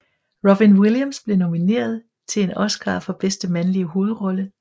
Robin Williams blev nomineret til en Oscar for bedste mandlige hovedrolle